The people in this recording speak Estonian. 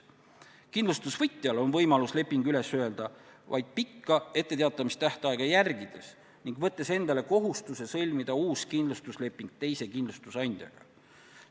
Kindlustusvõtjal on võimalus leping üles öelda vaid pikka etteteatamise tähtaega järgides ning võttes endale kohustuse sõlmida uus kindlustusleping teise kindlustusandjaga.